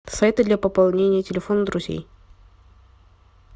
сайты для пополнения телефона друзей